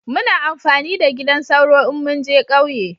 Muna amfani da gidan sauro in mun je kauye